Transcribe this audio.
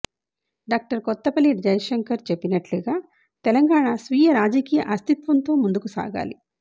doctor Kothapalli Jayashankar చెప్పినట్లుగా తెలంగాణ స్వీయ రాజకీయ అస్తిత్వంతో ముందుకు సాగాలి